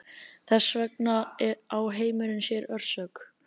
Þess vegna á heimurinn sér orsök.